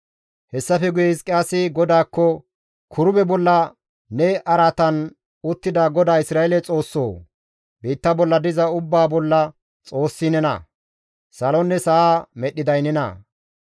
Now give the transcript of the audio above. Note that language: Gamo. Hessafe guye Hizqiyaasi GODAAKKO, «Kirube bolla ne araatan uttida GODAA Isra7eele Xoossoo! Biitta bolla diza ubbaa bolla Xoossi nena; salonne sa7a medhdhiday nena.